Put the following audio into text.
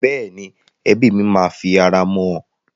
Bẹ́ẹ̀ni, ẹbí mi máa fi ara mọ́ ọn.